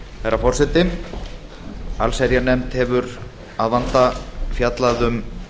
herra forseti allsherjarnefnd hefur að vanda fjallað um